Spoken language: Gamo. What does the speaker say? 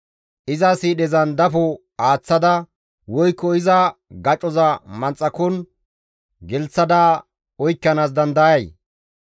Iza siidhezan dafo aaththada, woykko iza gacoza manxakon gelththada, oykkanaas dandayay?